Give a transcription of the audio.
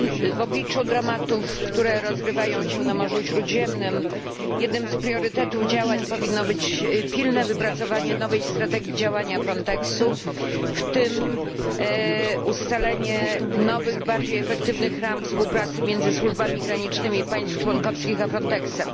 W obliczu dramatów, które rozgrywają się na Morzu Śródziemnym, jednym z priorytetów działań powinno być pilne wypracowanie nowej strategii działania Frontexu, w tym ustalenie nowych, bardziej efektywnych ram współpracy między służbami granicznymi państw członkowskich a Frontexem.